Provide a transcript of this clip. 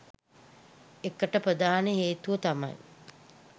එකට ප්‍රධාන හේතුව තමයි